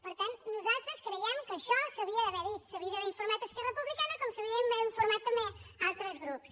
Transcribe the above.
per tant nosaltres creiem que això s’havia d’haver dit se n’havia d’haver informat esquerra republicana com se n’havia d’haver informat també altres grups